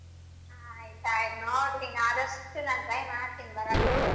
ಹ್ಮ್ ಆಯ್ತ್ ಆಯ್ತ್ ನೋಡ್ತೀನಿ ಆದಷ್ಟ ನಾ try ಮಾಡ್ತೀನಿ ಬರಕ್ಕ.